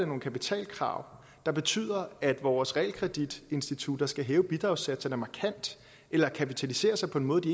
nogle kapitalkrav der betyder at vores realkreditinstitutter skal hæve bidragssatserne markant eller kapitalisere sig på en måde de